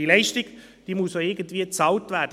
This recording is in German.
Diese Leistung muss irgendwie bezahlt werden.